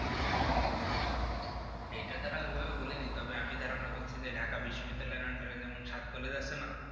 এইটা তারা ওইভাবে বলেনি তবে আমি ধারণা করছি যে ঢাকা বিশ্ববিদ্যালয়ের under এ যেমন সাত college আছে না